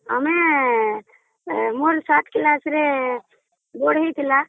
ଆମର light ଆସିବା ବେଳେ ମୋର board ହେଇଥିଲା